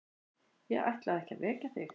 Ég ætlaði ekki að vekja þig.